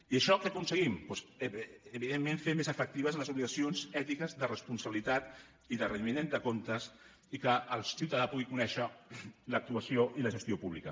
i amb això què aconseguim doncs evidentment fer més efectives les obligacions ètiques de responsabilitat i de rendiment de comptes i que el ciutadà pugui conèixer l’actuació i la gestió pública